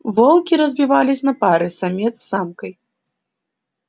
волки разбивались на пары самец с самкой